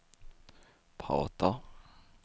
pratar